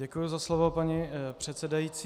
Děkuji za slovo, paní předsedající.